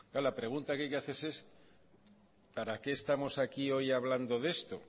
claro la pregunta que hay que hacerse es para qué estamos aquí hoy hablando de esto